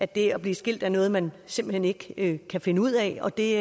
det at blive skilt er noget man simpelt hen ikke kan finde ud af og det